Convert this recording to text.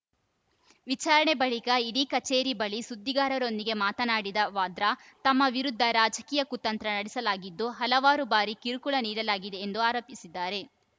ವಿಚಾರಣೆ ಬಳಿಕ ಇಡಿ ಕಚೇರಿ ಬಳಿ ಸುದ್ದಿಗಾರರೊಂದಿಗೆ ಮಾತನಾಡಿದ ವಾದ್ರಾ ತಮ್ಮ ವಿರುದ್ಧ ರಾಜಕೀಯ ಕುತಂತ್ರ ನಡೆಸಲಾಗಿದ್ದು ಹಲವಾರು ಬಾರಿ ಕಿರುಕುಳ ನೀಡಲಾಗಿದೆ ಎಂದು ಆರೋಪಿಸಿದ್ದಾರೆ